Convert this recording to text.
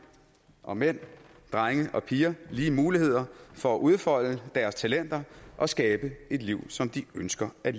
og mænd drenge og piger lige muligheder for at udfolde deres talenter og skabe et liv som de ønsker at